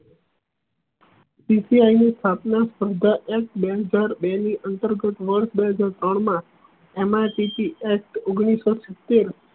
P C I નો સ્થાપના સ્પર્ધા એફ બેંક દર બે ની અંતર્ગત વર્ષ બે હાજર ત્રણ અમ મા એમ આર ટી થી એસ ઓઘ્નીશ સૌ સિત્તેર